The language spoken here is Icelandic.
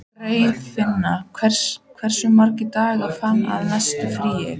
Geirfinna, hversu margir dagar fram að næsta fríi?